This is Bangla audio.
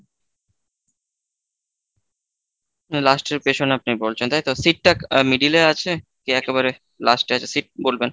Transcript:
last এর পেছনে আপনি বলছেন তাই তো seat টা middle এ আছে কি একেবারে last এ আছে seat বলবেন।